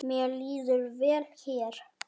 Mér líður vel hér.